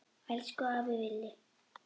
Elsku afi Villi.